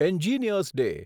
engineers day